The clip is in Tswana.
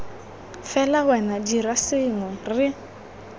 fela wena dira sengwe re